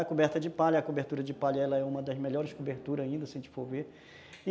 A coberta de palha, a cobertura de palha é uma das melhores coberturas ainda, se a gente for ver.